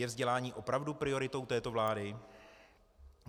Je vzdělání opravdu prioritou této vlády?